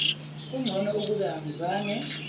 kungcono ukube angizange